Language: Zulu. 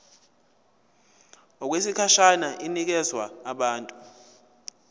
okwesikhashana inikezwa abantu